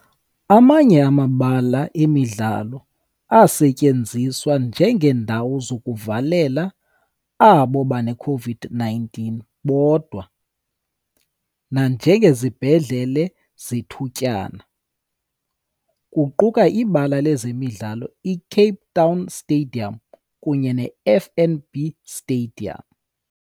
Amanye amabala emidlalo asetyenziswa njengeendawo zokuvalela abo baneCOVID-19 bodwa nanjengezibhedlele zethutyana, kuquka iBala lezemidlalo i-Cape Town Stadium kunye ne-FNB Stadium.